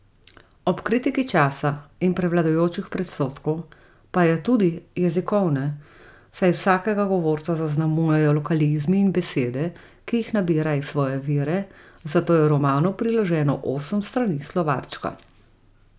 Ob kritiki časa in prevladujočih predsodkov pa je Tudi jezikovne, saj vsakega govorca zaznamujejo lokalizmi in besede, ki jih nabira iz svoje vere, zato je romanu priloženo osem strani slovarčka.